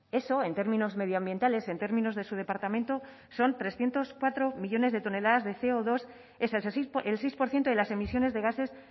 eso en términos medioambientales en términos de su departamento son trescientos cuatro millónes de toneladas de ce o dos el seis por ciento de las emisiones de gases